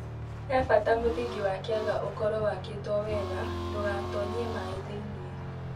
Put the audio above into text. He bata mũthingi wa kĩaga ũkorwo wakĩtwo wega ndũgatonyie maaĩ thĩinĩ.